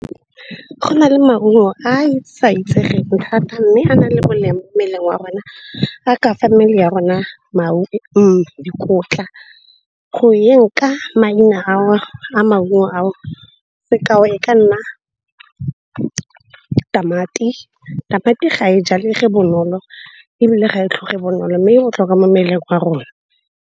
Go na le maungo a e sa itsegeng thata mme a nale molemo mo mmeleng wa rona a ka mmele ya rona dikotla. Go yeng ka maina ao a maungo a o, sekao e ka nna tamati, tamati ga e jalege bonolo ebile ga e tlhoge bonolo. Mme e botlhokwa mo mmeleng wa rona.